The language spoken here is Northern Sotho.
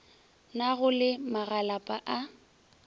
na go le magalapa a